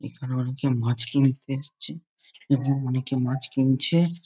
এখানে অনেকে মাছ কিনতে এসছে এবং অনেকে মাছ কিনছে।